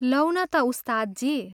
Loan ता, उस्तादजी!